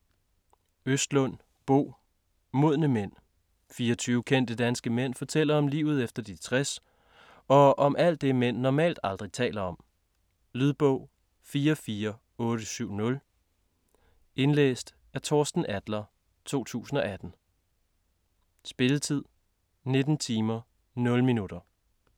Østlund, Bo: Modne mænd 24 kendte danske mænd fortæller om livet efter de 60 og om alt det mænd normalt aldrig taler om. Lydbog 44870 Indlæst af Torsten Adler, 2018. Spilletid: 19 timer, 0 minutter.